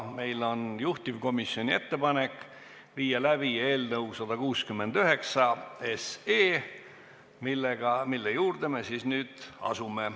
Meil on juhtivkomisjoni ettepanek viia läbi eelnõu 169 lõpphääletus.